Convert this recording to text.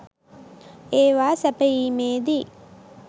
ඒවා සැපයීමේදී